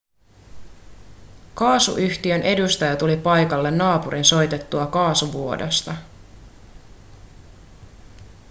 kaasuyhtiön edustaja tuli paikalle naapurin soitettua kaasuvuodosta